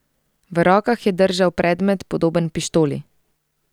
V rokah je držal predmet, podoben pištoli.